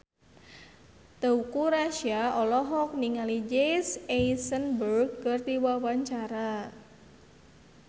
Teuku Rassya olohok ningali Jesse Eisenberg keur diwawancara